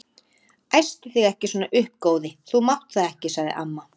Æstu þig ekki svona upp góði, þú mátt það ekki sagði amma.